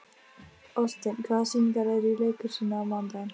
Oddsteinn, hvaða sýningar eru í leikhúsinu á mánudaginn?